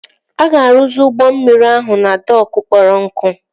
A ga-arụzi ụgbọ mmiri ahụ na dokụ kpọrọ nkụ